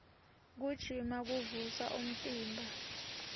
kugijima kuvusa umtimba